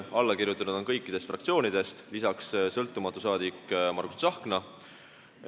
Allakirjutanuid on kõikidest fraktsioonidest, lisaks sõltumatu saadik Margus Tsahkna.